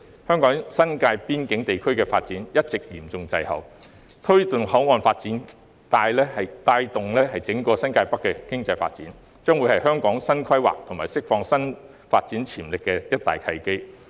香港新界邊境地區的發展一直嚴重滯後，推動口岸發展帶動整個新界北經濟發展，將是香港新規劃及釋放發展潛力的一大契機。